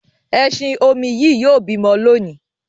ẹṣin-omi Yí yóò bímọ lóni.